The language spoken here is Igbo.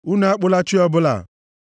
“Unu akpụla chi ọbụla.